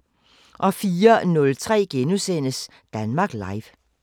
04:03: Danmark Live *